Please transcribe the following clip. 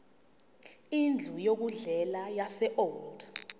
indlu yokudlela yaseold